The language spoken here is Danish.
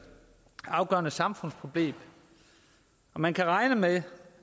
afgørende samfundsproblem man kan regne med